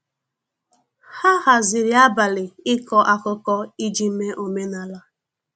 ha haziri abali iko akụkọ iji mee omenala.